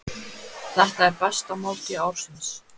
Þetta er besta máltíð ársins.